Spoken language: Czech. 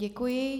Děkuji.